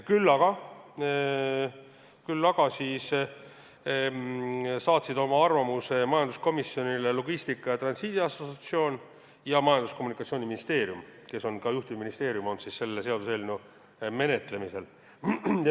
Küll aga saatsid oma arvamuse majanduskomisjonile Logistika ja Transiidi Assotsiatsioon ning Majandus- ja Kommunikatsiooniministeerium, mis on selle seaduseelnõu menetlemisel olnud ka juhtivministeerium.